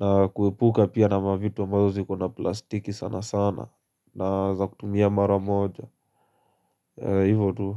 na kuepuka pia na mavitu ambazo zikona plastiki sana sana na za kutumia mara moja Hivo tu.